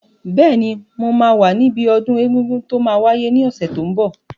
Bẹ́ẹ̀ni, mo máa wà níbi ọdún egungun tó máa wáyé ní ọ̀sẹ̀ tó n bọ̀